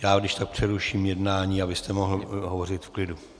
Já když tak přeruším jednání, abyste mohl hovořit v klidu.